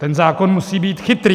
Ten zákon musí být chytrý.